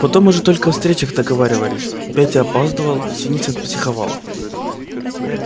потом уже только о встречах договаривались петя опаздывал синицын психовал